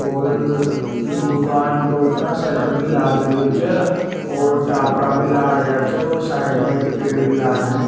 और इ दूकान के ऊपर शटर भी लाग रियो छे और टापरा भी लाग रियो छे और साइड में एक पेड़ भी लाग रियो।